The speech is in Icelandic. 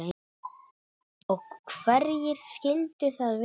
Og hverjir skyldu það vera?